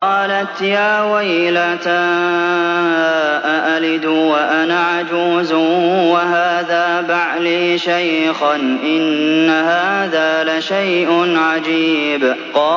قَالَتْ يَا وَيْلَتَىٰ أَأَلِدُ وَأَنَا عَجُوزٌ وَهَٰذَا بَعْلِي شَيْخًا ۖ إِنَّ هَٰذَا لَشَيْءٌ عَجِيبٌ